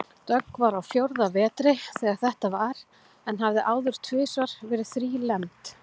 Dögg var á fjórða vetri þegar þetta var en hafði áður tvisvar verið þrílembd.